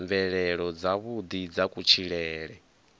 mvelelo dzavhuḓi dza kutshilele kwa